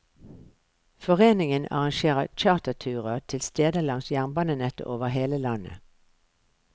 Foreningen arrangerer charterturer til steder langs jernbanenettet over hele landet.